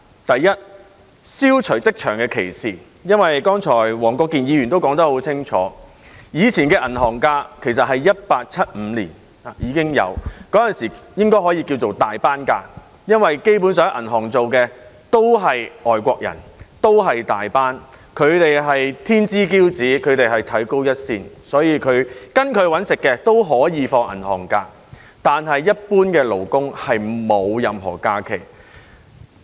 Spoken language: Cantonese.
第一，消除職場的歧視，因為黃國健議員剛才已說得很清楚，過往的銀行假期其實在1875年訂立，那時應該可以稱為"大班假期"，因為基本上在銀行工作的都是外國人，都是大班，他們是天之驕子，被看高一線，所以跟隨他們"搵食"的都可以放銀行假期，但一般勞工卻沒有任何假期。